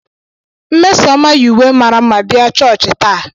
Nmesoma yi uwe mara mma bịa chọọchị taa.